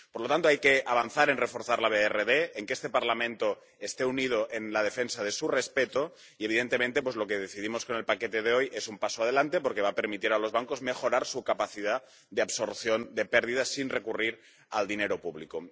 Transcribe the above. Por lo tanto, hay que avanzar en reforzar la DRRB, en que este Parlamento esté unido en la defensa de su respeto y, evidentemente, lo que decidimos con el paquete de hoy es un paso adelante, porque va a permitir a los bancos mejorar su capacidad de absorción de pérdidas sin recurrir al dinero público.